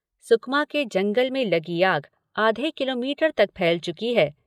सुकमा के जंगल में लगी आग आधे किलोमीटर तक फैल चुकी है।